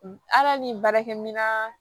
Ala ni baarakɛminɛn